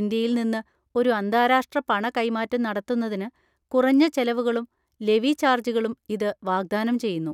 ഇന്ത്യയിൽ നിന്ന് ഒരു അന്താരാഷ്ട്ര പണ കൈമാറ്റം നടത്തുന്നതിന് കുറഞ്ഞ ചെലവുകളും ലെവി ചാർജുകളും ഇത് വാഗ്ദാനം ചെയ്യുന്നു.